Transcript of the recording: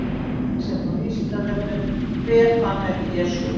Frekara lesefni á Vísindavefnum: Hver fann upp Jesú?